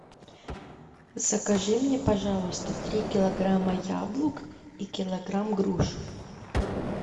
закажи мне пожалуйста три килограмма яблок и килограмм груш